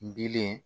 Dilen